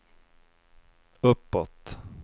uppåt